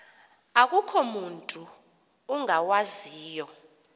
akukho mutu ungawaziyo